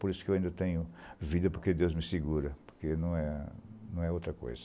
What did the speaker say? Por isso que eu ainda tenho vida, porque Deus me segura, porque não é não é outra coisa.